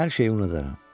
Hər şeyi unudaram.